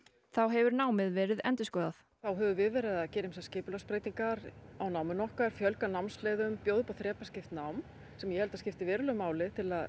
þá hefur námið verið endurskoðað við verið að gera skipulagsbreytingar á náminu okkar fjölga námsleiðum bjóða upp á þrepaskipt nám sem ég held að geti skipt verulegu máli til að